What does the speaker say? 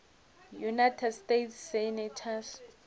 united states senators